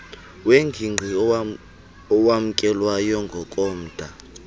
wengigqi owamkelwayo ngokomda